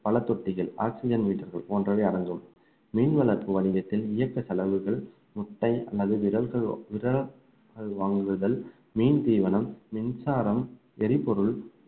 பழத்தொட்டிகள் oxygen meter கள் போன்றவை அடங்கும் மீன் வளர்ப்பு வணிகத்தில் இயக்க செலவுகள் முட்டை அல்லது வாங்குதல் மீன் தீவனம் மின்சாரம் எரிபொருள்